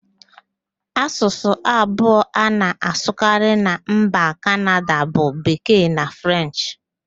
Asụsụ abụọ a na-asụkarị na mba Kanada bụ Bekee na Frenchị